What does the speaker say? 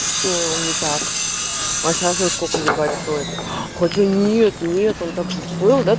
так а сейчас во сколько ебать стоит хочу нет нет он также